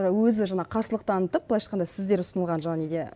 өзі жаңағы қарсылық танытып былайша айтқанда сіздер ұсынған жаңағы неге